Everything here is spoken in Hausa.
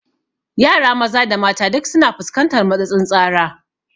Yara maza da mata duk su na fuskantar matsatsin tsara